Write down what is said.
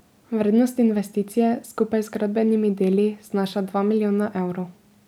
Vrednost investicije skupaj z gradbenimi deli znaša dva milijona evrov.